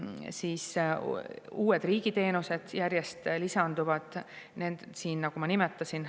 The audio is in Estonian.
Siia lisanduvad järjest uued riigi teenused, nagu ma nimetasin.